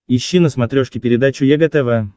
ищи на смотрешке передачу егэ тв